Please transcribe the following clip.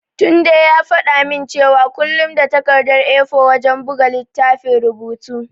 Tunde ya faɗa min cewa kullum da takardar A4 wajen buga littafin rubutu.